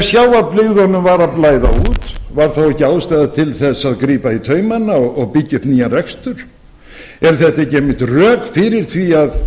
sjávarbyggðunum var að blæða út var þá ekki ástæða til að grípa í taumana og byggja upp nýjan rekstur eru þetta ekki einmitt rök fyrir því að